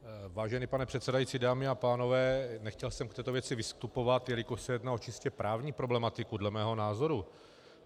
Vážený pane předsedající, dámy a pánové, nechtěl jsem v této věci vystupovat, jelikož se jednalo o čistě právní problematiku dle mého názoru.